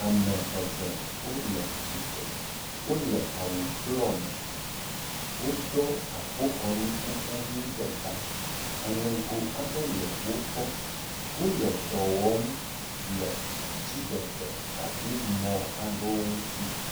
Ame eve wole tsi tsre. Wole awu blɔɔ me. Woɖɔ akpoxɔnukuku ʋi ɖe ta. Aŋɛgo aɖe le wogbɔ. Wole dɔ wɔm le dziɖegbekaɖimɔ̃ aɖewo ŋutsi